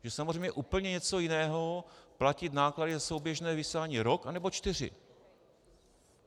Je samozřejmě úplně něco jiného platit náklady za souběžné vysílání rok, anebo čtyři.